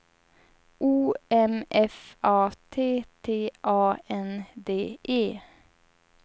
O M F A T T A N D E